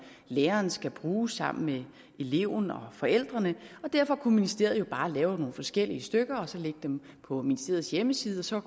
læreren skal bruge sammen med eleven og forældrene derfor kunne ministeriet jo bare lave nogle forskellige stykker og så lægge dem på ministeriets hjemmeside så